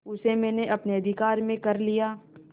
उसे मैंने अपने अधिकार में कर लिया